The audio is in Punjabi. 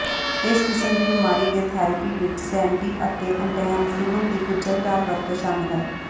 ਇਸ ਕਿਸਮ ਦੀ ਬਿਮਾਰੀ ਦੇ ਥੈਰੇਪੀ ਵਿਚ ਸੈਡੇਟਿਵ ਅਤੇ ਐਂਟੀਹਿਸਟਾਮਿਨਸ ਦੀ ਗੁੰਝਲਦਾਰ ਵਰਤੋਂ ਸ਼ਾਮਲ ਹੈ